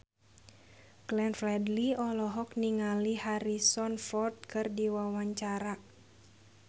Glenn Fredly olohok ningali Harrison Ford keur diwawancara